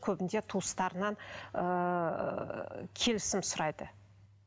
көбінде туыстарынан ыыы келісім сұрайды